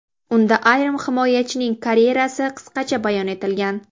Unda yarim himoyachining karyerasi qisqacha bayon etilgan.